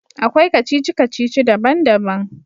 Akwai kacici-kacici daban-daban.